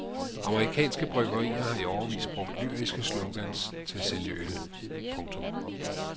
Amerikanske bryggerier har i årevis brugt lyriske slogans til at sælge øl. punktum